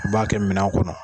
U b'a kɛ minan kɔnɔ